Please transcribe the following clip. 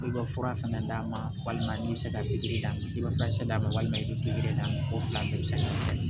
Olu bɛ fura fɛnɛ d'a ma walima ni bɛ se ka pikiri d'a ma i bɛ furakisɛ d'a ma walima i bɛ pikiri d'a ma o fila bɛɛ bɛ se ka kɛ